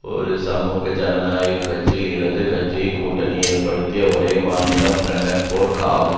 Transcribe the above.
ஒரு சமூக ஜனநாயக கட்சிஇடது கட்சி கூட்டணி ஏற்படுத்திய ஒரே மாநிலம் பிரண்டன்பேர்க் ஆகும்